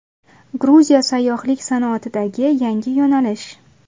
Gruziya sayyohlik sanoatidagi yangi yo‘nalish.